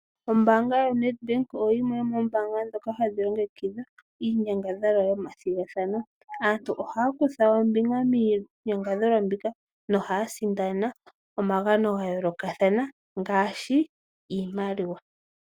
Ombaanga yaNedbank oyo yimwe yomoombaanga ndhoka hadhi longekidha iinyangadhalwa yomathigathano. Aantu ohaya kutha ombinga miinyangadhalwa mbika nohaya sindana omagano ga yoolokathana ngaashi iimaliwa.